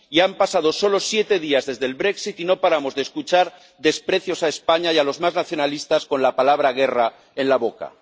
Han pasado solo siete días desde el brexit y no paramos de escuchar desprecios a España y a los más nacionalistas con la palabra guerra en la boca.